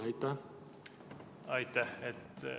Aitäh!